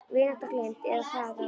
Vináttan gleymd, eða hvað það var.